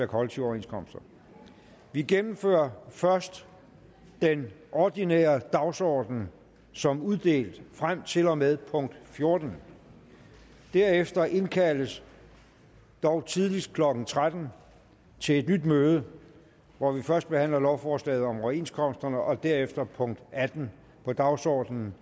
kollektive overenskomster vi gennemfører først den ordinære dagsorden som uddelt frem til og med punkt fjortende derefter indkaldes dog tidligst klokken tretten til et nyt møde hvor vi først behandler lovforslaget om overenskomsterne og derefter punkt atten på dagsordenen